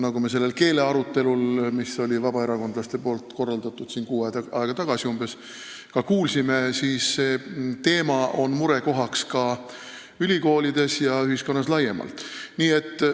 Nagu me sellel vabaerakondlaste umbes kuu aega tagasi korraldatud keelearutelul kuulsime, see teema on murekohaks ka ülikoolides ja ühiskonnas laiemalt.